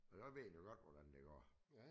Og så ved den jo godt hvordan det går